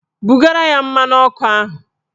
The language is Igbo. Bugara ya mmanụ ọkụ ahụ!